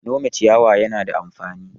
Nome ciyawa yana da amfani.